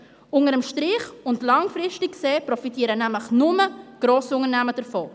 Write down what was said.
Unter dem Strich und langfristig gesehen profitieren nämlich nur die Grossunternehmen davon.